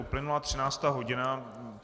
Uplynula 13. hodina.